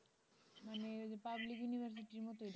মানে ওই যে public university এর মতই